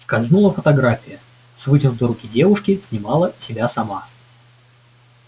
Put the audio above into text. скользнула фотография с вытянутой руки девушки снимала себя сама